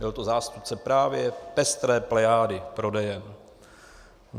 Byl to zástupce právě pestré plejády prodejen.